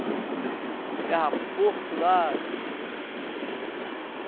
Criava porco lá.